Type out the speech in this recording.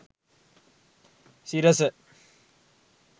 sirasa